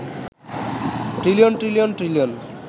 trillion trillion trillion